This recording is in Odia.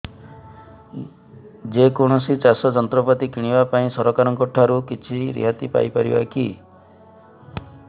ଯେ କୌଣସି ଚାଷ ଯନ୍ତ୍ରପାତି କିଣିବା ପାଇଁ ସରକାରଙ୍କ ଠାରୁ କିଛି ରିହାତି ପାଇ ପାରିବା କି